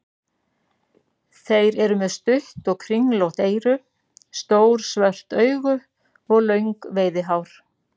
Þeir eru með stutt og kringlótt eyru, stór svört augu og löng veiðihár.